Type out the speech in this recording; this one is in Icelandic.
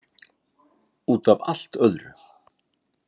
Út af allt öðru.